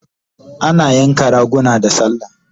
Ana yanka raguna da sallah